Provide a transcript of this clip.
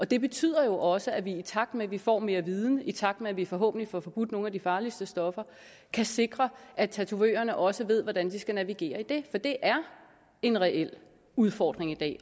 det betyder jo også at vi i takt med at vi får mere viden i takt med at vi forhåbentlig får forbudt nogle af de farligste stoffer kan sikre at tatovørerne også ved hvordan de skal navigere i det for det er en reel udfordring i dag